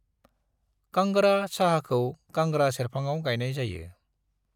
कांगड़ा साहाखौ कांगड़ा सेरफाङाव गायनाय जायो। ।